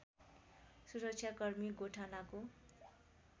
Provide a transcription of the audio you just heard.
सुरक्षाकर्मी गोठालाको